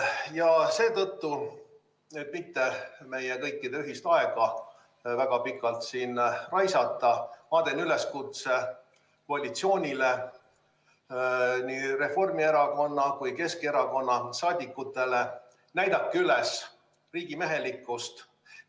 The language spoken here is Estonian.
Ja et mitte meie kõikide ühist aega väga pikalt siin raisata, teen üleskutse koalitsioonile, nii Reformierakonna kui ka Keskerakonna saadikutele: näidake üles riigimehelikkust!